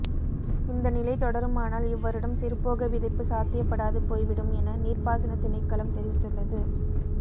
இந்த நிலை தொடருமானால் இவ்வருடம் சிறுபோக விதைப்பு சாத்தியப்படாது போய்விடும் என நீர்ப்பாசனத் திணைக்களம் தெரிவித்துள்ளது